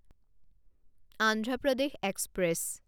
Andhra Pradesh express